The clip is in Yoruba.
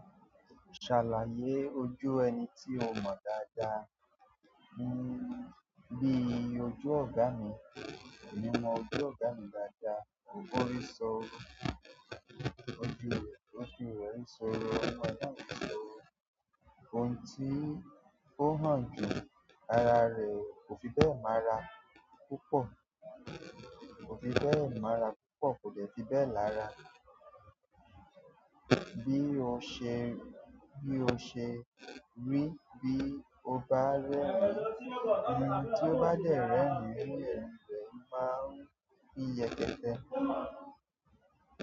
Ṣàlàyé ojú ẹni tí o mọ dáadáa, bí i ojú ọ̀gá mi. Mi mọ ojú ọ̀gá mi dáadáa, ó rísọ, ojú rẹ̀ ó fi rẹ̀ rísọ, ọmọ náà ń sọ, ohùn tí ó ọń jù àrà rẹ̀ kò fi bẹ́ẹ̀ mọ́ra púpọ̀, kò fi bẹ́ẹ̀ mọ́ra púpọ̀, kò dẹ́fi bẹ́ẹ̀ lára. Bí o ṣe, bí o ṣe rí bí ó bá rẹ́rìn-ín, tí ó bá dẹ̀ rẹ́rìn-ín, irú rẹ̀ máa ń fi yẹtẹ́.